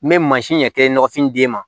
N bɛ mansin ɲɛ kelen nɔgɔfin d'e ma